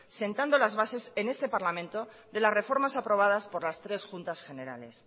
sentando las bases en este parlamento de las reformas aprobadas por las tres juntas generales